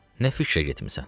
nə fikrə getmisən?